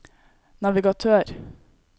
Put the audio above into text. navigatør